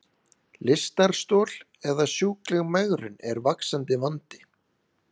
Lystarstol eða sjúkleg megrun er vaxandi vandi.